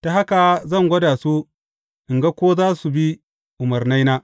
Ta haka zan gwada su in ga ko za su bi umarnaina.